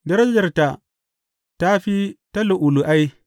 Darajarta ta fi ta lu’ulu’ai.